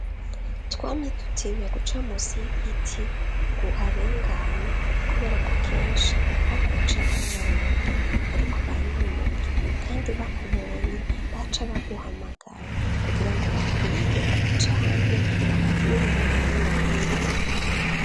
Twamye dutinya guca musi y'igiti nguharengane kuberako kenshi habahicaye abanywarumugi bariko baranywa urumogi kandi bakubonye baca baguhamagara kugirango bakwibe canke bakugirire nabi mubindi.